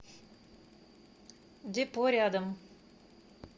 депо рядом